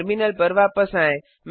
terminal पर वापस आएँ